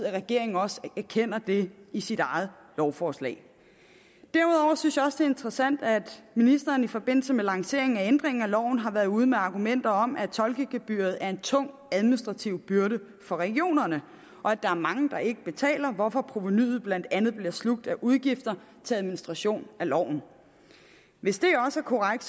at regeringen også erkender det i sit eget lovforslag derudover synes jeg også interessant at ministeren i forbindelse med lanceringen af ændringen af loven har været ude med argumenter om at tolkegebyret er en tung administrativ byrde for regionerne og at der er mange der ikke betaler hvorfor provenuet blandt andet bliver slugt af udgifter til administration af loven hvis det også er korrekt